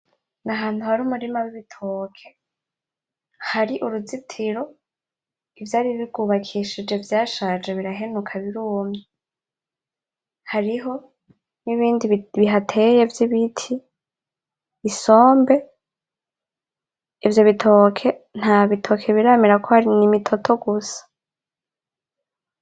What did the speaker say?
Ahantu hari umurima w'ibitoke hari uruzitiro ivyari bigubakishije vyashaje birahenuka birumye , hariho n'ibindi bihateye vy'ibiti ,isombe , ivyo bitoke nta bitoke biramera kuko hari imitoto gusa .